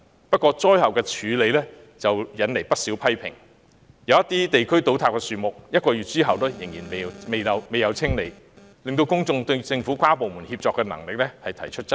不過，災後處理卻惹來不少批評，有些地區的樹木在倒塌1個月後仍然未獲清理，令公眾對政府跨部門協作的能力提出質疑。